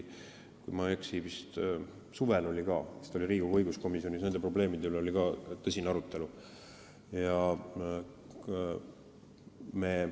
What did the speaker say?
Kui ma ei eksi, siis vist suvel oli ka Riigikogu õiguskomisjonis nende probleemide üle tõsine arutelu.